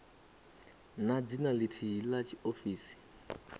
na dzina lithihi la tshiofisi